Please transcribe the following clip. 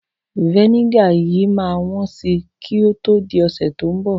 Vẹ́nígà yìí máa wọ́n si kí o tó di ọ̀sẹ̀ tí ó ń bọ̀.